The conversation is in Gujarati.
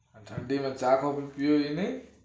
આ ઠંડી નો ચા coffee પીવો એ નહિ?